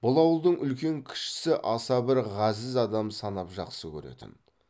бұл ауылдың үлкен кішісі аса бір ғазіз адам санап жақсы көретін